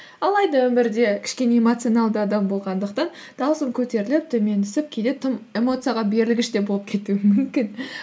алайда өмірде кішкене эмоцианалды адам болғандықтан даусым көтеріліп төмен түсіп кейде тым эмоцияға берілгіш те болып кетуім мүмкін